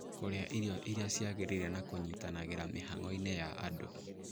Kũrĩa irio iria ciagĩrĩire na kũnyitanagĩra mĩhango-inĩ ya andũ